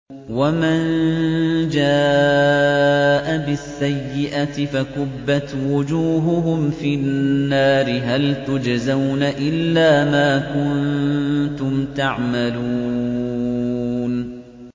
وَمَن جَاءَ بِالسَّيِّئَةِ فَكُبَّتْ وُجُوهُهُمْ فِي النَّارِ هَلْ تُجْزَوْنَ إِلَّا مَا كُنتُمْ تَعْمَلُونَ